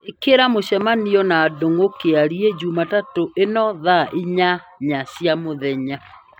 ĩkĩra mũcemanio na ndũng'ũ kĩarie jumatatũ ĩno thaa inyanya cia mũthenya